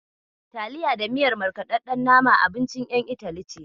Taliya da miyar markaɗaɗɗen nama abincin ƴan Itali ce.